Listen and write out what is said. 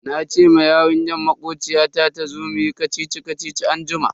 Nace ma yarinyar makociyata tazo muyi kacici-kacici anjima.